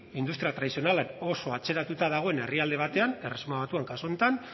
industria tradizionalak oso atzeratuta dagoen herrialde batean erresuma batuan kasu honetan